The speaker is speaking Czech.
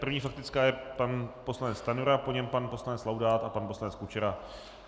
První faktická je pan poslanec Stanjura, po něm pan poslanec Laudát a pan poslanec Kučera.